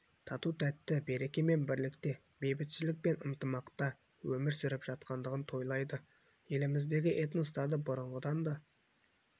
тату-тәтті береке мен бірлікте бейбітшілік пен ынтымақта өмір сүріп жатқандығын тойлайды еліміздегі этностарды бұрынғыдан да